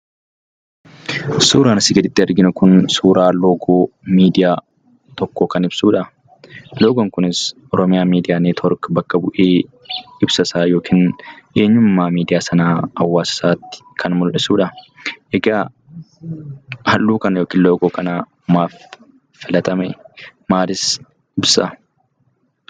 Suuraan asii gaditti arginu kun suuraa loogoo miidiyaa tokkoo kan ibsuudha. Loogoon kunis Oromiyaa Miidiyaa Niitoork bakka bu'ee ibsasaa yoo kennu, eenyummaa miidiyaa sanaa uummatasaatti kan mul'isuudha. Egaa halluu kana yookiin loogoo kana maaf filatame maalis ibsaa?